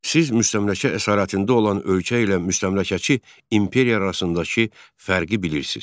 Siz müstəmləkə əsarətində olan ölkə ilə müstəmləkəçi imperiya arasındakı fərqi bilirsiz.